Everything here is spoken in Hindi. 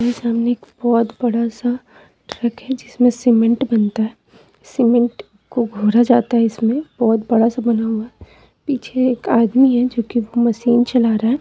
मेरे सामने एक बहुत बड़ा सा ट्रक है जिसमें सीमेंट बनता है सीमेंट को घोरा जाता है इसमें बहुत बड़ा सा बना हुआ पीछे एक आदमी है जो कि वह मशीन चला रहा है।